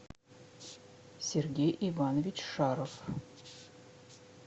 сергей иванович шаров